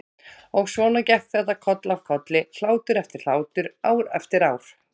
Og svona gekk þetta koll af kolli, hlátur eftir hlátur, ár eftir ár.